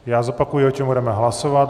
Já zopakuji, o čem budeme hlasovat.